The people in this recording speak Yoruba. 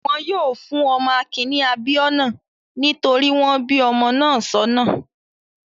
Wọn yóò fún ọmọ Akin ní 'Abíọ́nà' nítorí wọ́n bí ọmọ náà sọ́nà.